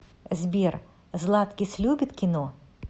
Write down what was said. сбер златкис любит кино